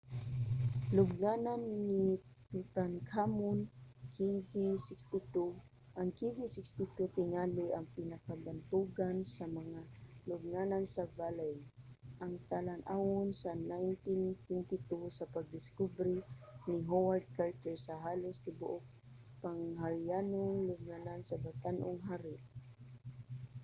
lubnganan ni tutankhamun kv 62. ang kv 62 tingali ang pinakabantugan sa mga lubnganan sa valley ang talan-awon sa 1922 sa pagdiskubre ni howard carter sa halos tibuok pang harianong lubnganan sa batan-ong hari